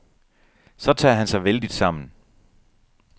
Så tager han sig vældigt sammen.